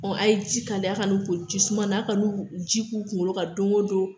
Ɔ a ye ji kaliya a ka n'u ko ji suma n'a ka n'u ji k'u kunkolo kan don ko don